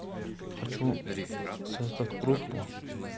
хочу создать группу